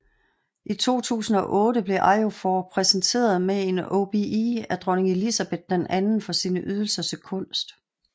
I 2008 blev Ejiofor præsenteret med en OBE af dronning Elizabeth II for sine ydelser til kunst